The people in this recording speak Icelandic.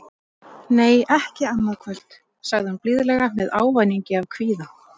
Nei, ekki annað kvöld, sagði hún blíðlega með ávæningi af kvíða.